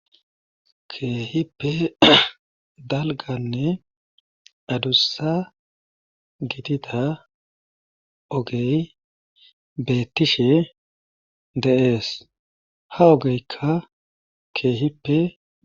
Keehippe dalganne adussa gitida ogey beettishe de7ees ha ogeykka keehipe.